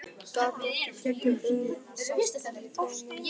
Gat ekki slitið augun af kumpánunum tveim.